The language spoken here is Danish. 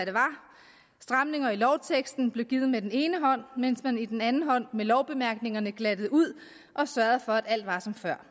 stramninger i lovteksten blev givet med den ene hånd mens man med den anden hånd med lovbemærkningerne glattede ud og sørgede for at alt var som før